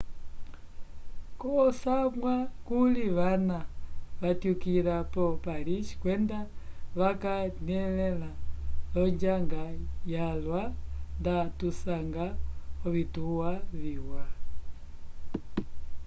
k'osamwa kuli vana vatyukila ko paris kwenda vakanyelẽla l'onjanga yalwa nda tusanga ovituwa viwa